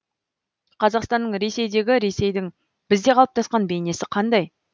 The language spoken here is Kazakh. қазақстанның ресейдегі ресейдің бізде қалыптасқан бейнесі қандай